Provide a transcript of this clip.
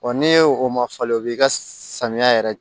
n'e o ma falen o b'i ka samiya yɛrɛ